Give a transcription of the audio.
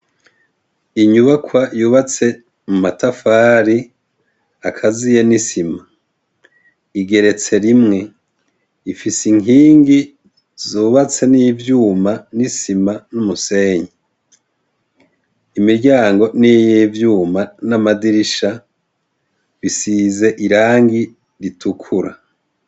Inyubakwa yubatse mumatafari akaziye n' isima . Igeretse rimwe ,ifise inkingi zubatse n'ivyuma n' isima n' umusenyi. Imiryango niy' ivyuma n' amadirisha ,bisizwe irangi itukura .